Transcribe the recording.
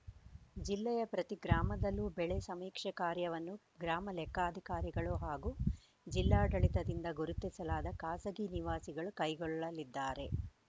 ಜಿಲ್ಲೆಯ ಪ್ರತಿ ಗ್ರಾಮದಲ್ಲೂ ಬೆಳೆ ಸಮೀಕ್ಷೆ ಕಾರ್ಯವನ್ನು ಗ್ರಾಮ ಲೆಕ್ಕಾಧಿಕಾರಿಗಳು ಹಾಗು ಜಿಲ್ಲಾಡಳಿತದಿಂದ ಗುರುತಿಸಲಾದ ಖಾಸಗಿ ನಿವಾಸಿಗಳು ಕೈಗೊಳ್ಳಲಿದ್ದಾರೆ